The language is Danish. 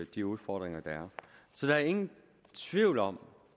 de udfordringer der er så der er ingen tvivl om